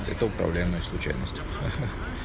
это управляемая случайность ха-ха